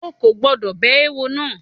O kò gbọ́dọ̀ bẹ eéwo náà!